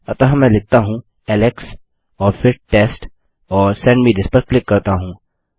अतः मैं लिखता हूँ एलेक्स और फिर टेस्ट और सेंड मे थिस पर क्लिक करता हूँ